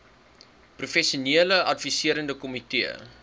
professionele adviserende komitee